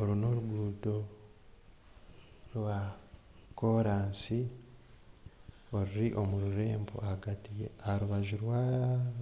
Oru n'orugudo rwa kooransi oruri omu rurembo ahagati aharubaju